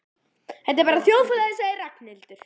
Þetta er bara þjóðfélagið sagði Ragnhildur.